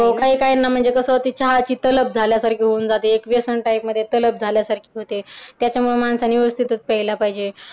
हो काही काहींना कस म्हणजे ती चहाची तलप झाल्यासारखी होऊन जाते एक व्यसन type मध्ये एक व्यसन झाल्यासारखी होते त्याच्यामुळे माणसाने व्यवस्थितच प्यायला पाहिजे